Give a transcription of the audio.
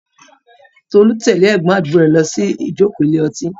Tolu tẹ̀lé ẹ̀gbọ́n àdúgbò rẹ̀ lọ sí ìjókòó ilé ọtí.